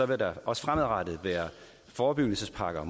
der også fremadrettet være forebyggelsespakker